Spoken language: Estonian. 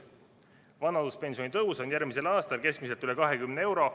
Vanaduspensioni tõus on järgmisel aastal keskmiselt üle 20 euro.